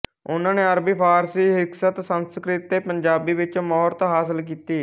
ਉਹਨਾਂ ਨੇ ਅਰਬੀ ਫਾਰਸੀ ਹਿਕਸਤ ਸੰਸਕ੍ਰਿਤ ਤੇ ਪੰਜਾਬੀ ਵਿੱਚ ਮੁਹਰਤ ਹਾਸਿਲ ਕੀਤੀ